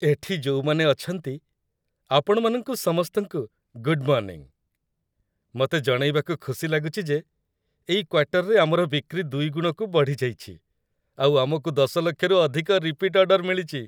ଏଠି ଯୋଉମାନେ ଅଛନ୍ତି, ଆପଣମାନଙ୍କୁ ସମସ୍ତଙ୍କୁ, ଗୁଡ୍ ମର୍ଣ୍ଣିଂ । ମତେ ଜଣେଇବାକୁ ଖୁସି ଲାଗୁଚି ଯେ ଏଇ କ୍ୱାର୍ଟରରେ ଆମର ବିକ୍ରି ଦୁଇ ଗୁଣକୁ ବଢ଼ିଯାଇଚି ଆଉ ଆମକୁ ୧୦ ଲକ୍ଷରୁ ଅଧିକ ରିପିଟ୍ ଅର୍ଡ଼ର ମିଳିଚି ।